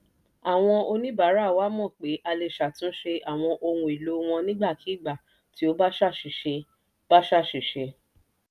àwọn oníbàárà wa mọ̀ pé a lè ṣàtúnṣe àwọn ohun èlò wọn nígbàkigbà tí ó bá ṣàṣìṣe. bá ṣàṣìṣe.